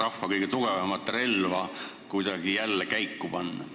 rahva kõige tugevamat relva kuidagi jälle käiku panna?